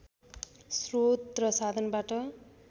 श्रोत र साधनबाट